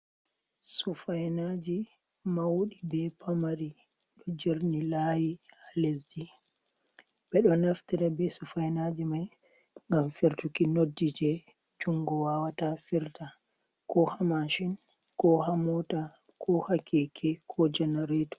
Sufainaji mauɗi be pamari ɗo jarni layi ha lesji ɓeɗo naftira be sufainaji mai ngam firtuki noddji je jungo wawata firta ko ha mashin, ko ha mota, ko hakeke ko janareto.